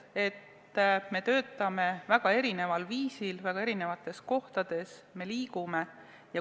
Me töötame väga erineval viisil väga erinevates kohtades, me liigume.